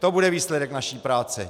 To bude výsledek naší práce.